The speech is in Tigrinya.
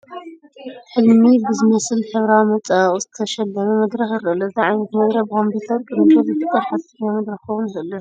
ሕልሚ ብዝመስል ሕብሪዊ መፀባበቒ ዝተሸለመ መድረኽ ይርአ ኣሎ፡፡ እዚ ዓይነት መድረኽ ብኮምፒዩተር ቅንብር ዝፍጠር ሓሰተኛ መድረኽ ክኸውን ዶ ይኽእል ይኾን?